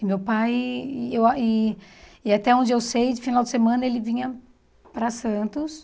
E meu pai... E eu ah e e até onde eu sei, de final de semana, ele vinha para Santos.